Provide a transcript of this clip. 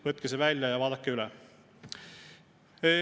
Võtke see välja ja vaadake üle.